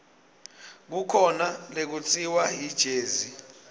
kukhona lekutsiwa yijezi